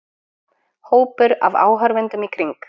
Hópur af áhorfendum í kring.